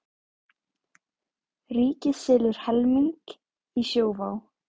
Ríkið selur helming í Sjóvá